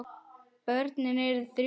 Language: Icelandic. Börnin eru þrjú.